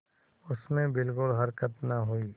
उसमें बिलकुल हरकत न हुई